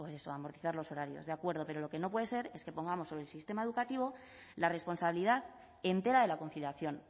pues eso amortizar los horarios de acuerdo pero lo que no puede ser es que pongamos sobre el sistema educativo la responsabilidad entera de la conciliación